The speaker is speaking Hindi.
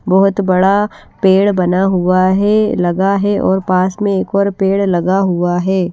बहुत बड़ा पेड़ बना हुआ है लगा है और पास में एक और पेड़ लगा हुआ है।